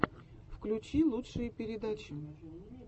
включи лучшие передачи